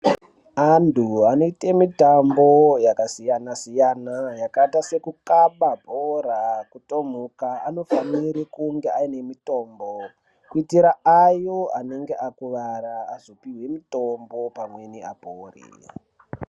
Antu anoyite mitambo yakasiyana-siyana, yakayita sekukaba bhora, kutomuka, anofanire kunge ane mitombo kuyitira ayo anenge akuvara azopiwa mitombo pamweni apore.